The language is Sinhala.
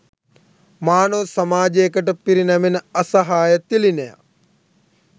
මානව සමාජයකට පිරිනැමෙන අසහාය තිළිණයක්